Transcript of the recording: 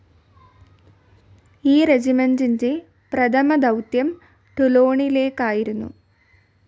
ഈ റെജിമെന്റിന്റെ പ്രഥമദൗത്യം ടൂലോണിലേക്കായിരുന്നു.